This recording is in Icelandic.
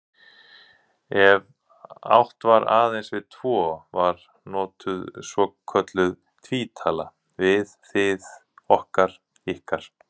Ef átt var aðeins við tvo var notuð svokölluð tvítala, við, þið, okkar, ykkar.